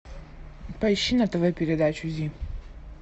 поищи на тв передачу зи